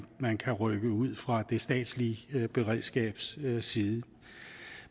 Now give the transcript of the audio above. man kan rykke ud fra det statslige beredskabs side